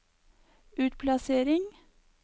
utplassering